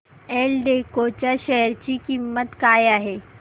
एल्डेको च्या शेअर ची किंमत काय आहे